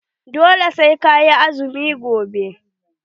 Dole sai ka yi azumi gobe.